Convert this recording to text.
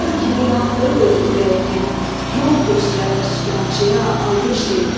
Məşəl kimi yandırıb öz ürəyini, yol göstərən sükançıya alqış deyin.